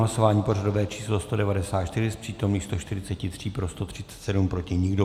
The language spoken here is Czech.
Hlasování pořadové číslo 194, z přítomných 143 pro 137, proti nikdo.